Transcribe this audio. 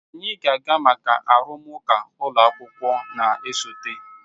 anyị ga-aga maka arụmụka ụlọ akwụkwọ na-esote.